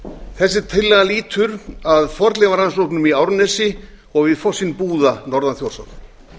þessi tillaga lýtur að fornleifarannsóknum í árnesi og við fossinn búða norðan þjórsár